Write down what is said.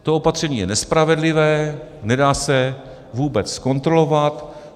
To opatření je nespravedlivé, nedá se vůbec zkontrolovat.